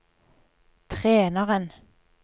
treneren